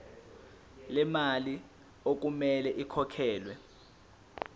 lemali okumele ikhokhelwe